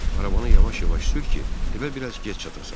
Arabanı yavaş-yavaş sür ki, evə bir az gec çatasan.